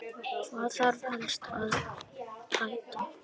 Hvað þarf helst að bæta?